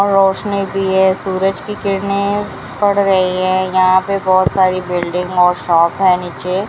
और रोशनी भी है सूरज की किरणें पड़ रही हैं यहां पे बहुत सारी बिल्डिंग और शॉप है नीचे।